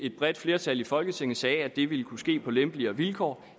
et bredt flertal i folketinget sagde nemlig at det ville kunne ske på lempeligere vilkår